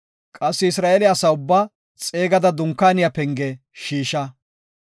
Qassi Isra7eele asa ubbaa xeegada Dunkaaniya penge shiisha.